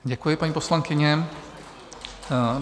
Děkuji, paní poslankyně.